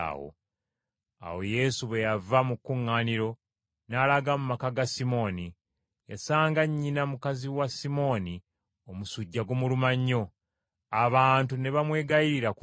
Awo Yesu bwe yava mu kkuŋŋaaniro, n’alaga mu maka ga Simooni. Yasanga nnyina mukazi wa Simooni omusujja gumuluma nnyo, abantu ne bamwegayiririra ku lulwe.